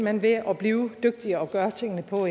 hen ved at blive dygtigere og gøre tingene på